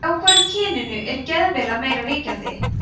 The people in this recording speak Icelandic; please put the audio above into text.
hjá hvoru kyninu er geðveila meira ríkjandi